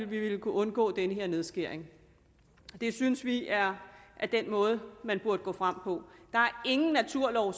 vi kunne undgå den her nedskæring det synes vi er den måde man burde gå frem på der er ingen naturlov